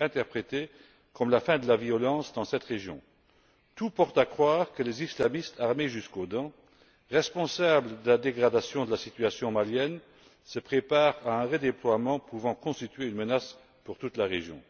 interprété comme la fin de la violence dans cette région. Tout porte à croire que les islamistes armés jusqu'aux dents, responsables de la dégradation de la situation malienne, se préparent à un redéploiement pouvant constituer une menace pour toute la région.